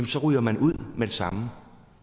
så ryger man ud med det samme